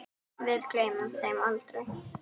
Við gleymum þeim aldrei.